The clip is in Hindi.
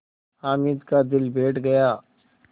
हामिद का दिल बैठ गया